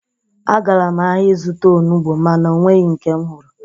Agara m ahia izụta onugbo ma na-ọnweghi nke m hụrụ